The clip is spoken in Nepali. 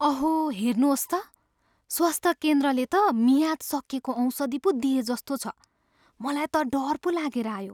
अहो! हेर्नुहोस् त! स्वास्थ्य केन्द्रले त मियाद सकिएको औषधि पो दिएजस्तो छ! मलाई त डर पो लागेर आयो!